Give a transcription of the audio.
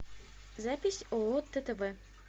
запись ооо ттв